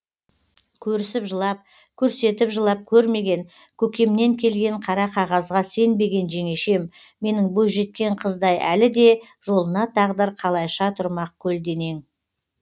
көрісіп жылап көрсетіп жылап көрмеген көкемнен келген қара қағазға сенбеген жеңешем менің бойжеткен қыздай әлі де жолына тағдыр қалайша тұрмақ көлденең